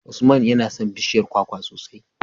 Usman yana son bishiyar kwakwa sosai.